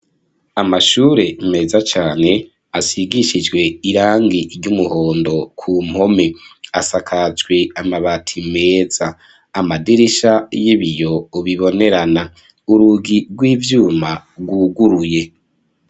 Amashure meza cane asigishijwe irangi ry'umuhondo ku mpome asakajwe amabati meza amadirisha y'ibiyo bibonerana urugi rw'ivyuma rwuguruye.